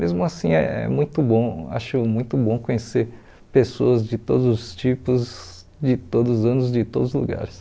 Mesmo assim, é muito bom, acho muito bom conhecer pessoas de todos os tipos, de todos os anos, de todos os lugares.